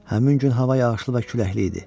Həmin gün hava yağışlı və küləkli idi.